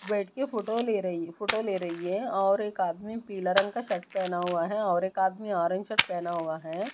बैठ के फोटो ले रही है फोटो ले रही है और एक आदमी पीला रंग का शर्ट पहना हुआ है और एक आदमी ऑरेंज शर्ट पहना हुआ है।